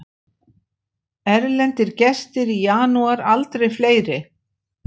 Erlendir gestir í janúar aldrei fleiri